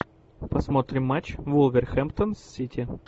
посмотрим матч вулверхэмптон с сити